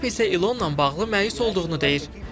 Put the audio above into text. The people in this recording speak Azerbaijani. Tramp isə İlonla bağlı məyus olduğunu deyir.